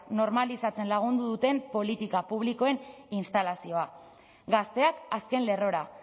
normalizatzen lagunduko duten politika publikoen instalazioa gazteak azken lerrora